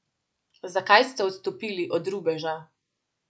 Zakaj ste odstopili od rubeža?